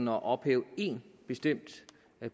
at ophæve én bestemt